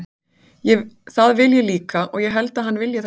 Það vil ég líka og ég held að hann vilji það sjálfur.